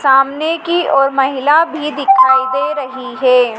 सामने की ओर महिला भी दिखाई दे रही है।